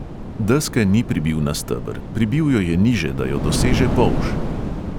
Deske ni pribil na steber, pribil jo je niže, da jo doseže polž.